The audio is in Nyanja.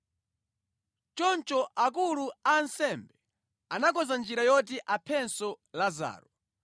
Choncho akulu a ansembe anakonza njira yoti aphenso Lazaro,